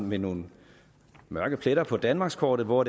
med nogle mørke pletter på danmarkskortet hvor